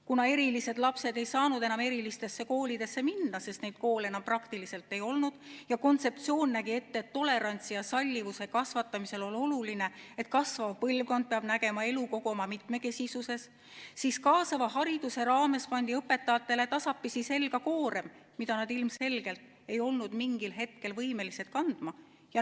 Kuna erilised lapsed ei saanud enam erilistesse koolidesse minna, sest neid koole enam praktiliselt ei olnudki, ja kontseptsioon nägi ette, et tolerantsi ja sallivuse kasvatamisel on oluline, et kasvav põlvkond peab nägema elu kogu oma mitmekesisuses, siis pandi õpetajatele kaasava hariduse raames tasapisi selga koorem, mida nad ilmselgelt ei olnud mingil hetkel võimelised kandma.